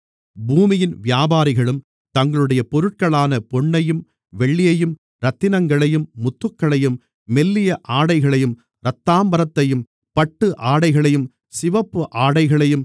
பூமியின் வியாபாரிகளும் தங்களுடைய பொருட்களான பொன்னையும் வெள்ளியையும் இரத்தினங்களையும் முத்துக்களையும் மெல்லிய ஆடைகளையும் இரத்தாம்பரத்தையும் பட்டு ஆடைகளையும் சிவப்பு ஆடைகளையும்